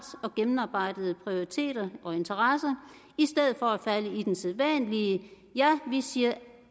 og gennemarbejdede prioriteter og interesser i stedet for at falde i den sædvanlige ja vi siger